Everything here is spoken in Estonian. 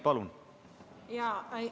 Palun!